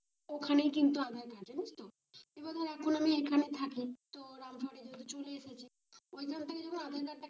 ওখানে কিন্তু আধার হয় জানিস তো এবার ধর এখন আমি এখানে থাকি চলে এসেছি